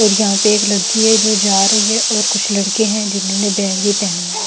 और यहां पे एक लड़की है जो जा रही है और कुछ लड़के हैं जिन्होंने बैग भी पहना--